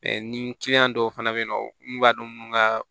ni dɔw fana bɛ yen nɔ n b'a dɔn n ka